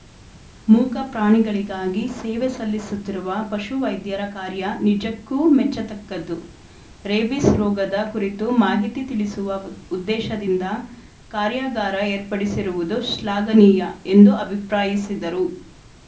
ಮೂಕಪ್ರಾಣಿಗಳಿಗಾಗಿ ಸೇವೆ ಸಲ್ಲಿಸುತ್ತಿರುವ ಪಶುವೈದ್ಯರ ಕಾರ್ಯ ನಿಜಕ್ಕೂ ಮೆಚ್ಚತಕ್ಕದ್ದು ರೇಬಿಸ್‌ ರೋಗದ ಕುರಿತು ಮಾಹಿತಿ ತಿಳಿಸುವ ಉದ್ದೇಶದಿಂದ ಕಾರ್ಯಾಗಾರ ಏರ್ಪಡಿಸಿರುವುದು ಶ್ಲಾಘನೀಯ ಎಂದು ಅಭಿಪ್ರಾಯಿಸಿದರು